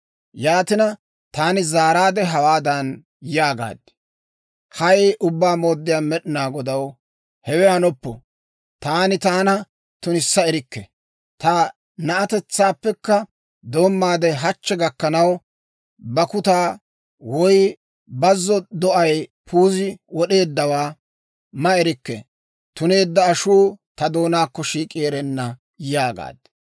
Yaatina, taani zaaraadde hawaadan yaagaad; «Hay! Ubbaa Mooddiyaa Med'inaa Godaw, hewe hanoppo! Taani taana tunissa erikke. Ta na'atetsaappe doommaade hachchi gakkanaw, bakkutaa woy bazzo do'ay puuziide wod'eeddawaa ma erikke; tuneedda ashuu ta doonaakko shiik'i erenna» yaagaad.